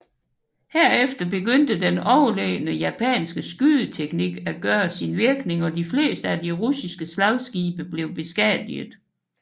Herefter begyndte den overlegne japanske skydeteknik at gøre sin virkning og de fleste af de russiske slagskibe blev beskadiget